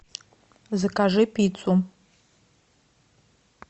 закажи пиццу